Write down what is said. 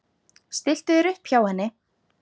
Stilltu þér upp hjá henni.